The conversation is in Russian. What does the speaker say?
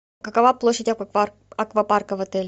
какова площадь аквапарка в отеле